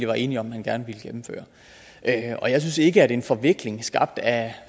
var enige om at man gerne ville gennemføre og jeg synes ikke at en forvikling skabt af